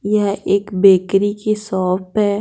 यह एक बेकरी की शॉप है।